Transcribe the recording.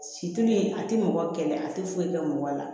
Situlu in a tɛ mɔgɔ kɛlɛ a tɛ foyi kɛ mɔgɔ la